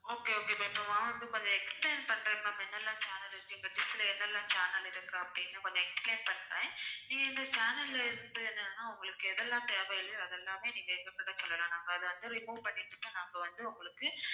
okay okay but வாங்குறதுக்கு கொஞ்சம் explain பண்றேன் ma'am என்னெல்லாம் channel இருக்கு இந்த dish ல என்னெல்லாம் channel இருக்கு அப்பிடின்னு கொஞ்சம் explain பண்றேன் இந்த channel ல்ல இருக்குறது என்னென்னா உங்களுக்கு எதெல்லாம் தேவையில்லையோ அதெல்லாமே நீங்க எங்ககிட்ட சொல்லலாம் நாங்க அதை வந்து remove பண்ணிட்டு தான் நாங்க வந்து உங்களுக்கு